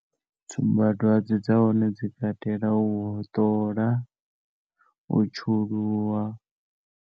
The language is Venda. Tsumba dzwadze dza hone dzi katela u hoṱola u tshuluwa.